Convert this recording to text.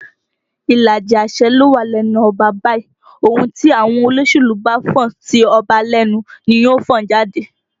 Ìlàjì àṣẹ ló wà lẹ́nu ọba báyìí, ohùn tí àwọn olóṣèlú bá fọn sí ọba lẹ́nu ni yóò fọn jáde